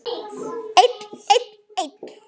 Einn, einn, einn.